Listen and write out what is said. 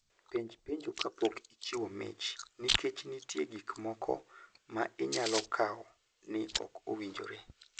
Penj penjo kapok ichiwo mich, nikech nitie gik moko ma inyalo kawo ni ok owinjore.